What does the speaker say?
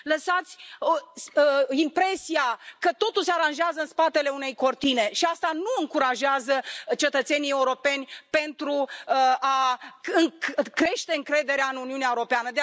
Lăsați impresia că totul se aranjează în spatele unei cortine și asta nu încurajează cetățenii europeni pentru a crește încrederea în Uniunea Europeană.